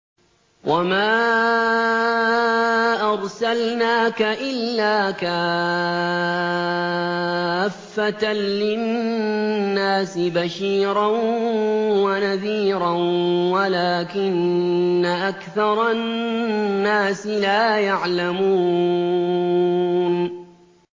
وَمَا أَرْسَلْنَاكَ إِلَّا كَافَّةً لِّلنَّاسِ بَشِيرًا وَنَذِيرًا وَلَٰكِنَّ أَكْثَرَ النَّاسِ لَا يَعْلَمُونَ